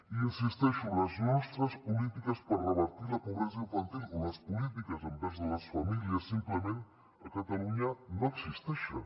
hi insisteixo les nostres polítiques per revertir la pobresa infantil o les polítiques envers les famílies simplement a catalunya no existeixen